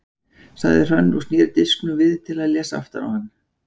sagði Hrönn og sneri disknum við til að lesa aftan á hann.